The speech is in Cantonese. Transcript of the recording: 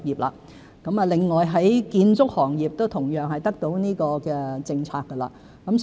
另外，建築業亦同樣受惠於有關政策。